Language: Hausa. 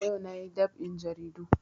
Ayau na yi dab'in jaridu